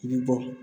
I bi bɔ